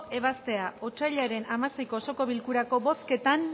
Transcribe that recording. ebaztea otsailaren hamaseiko osoko bilkurako bozketan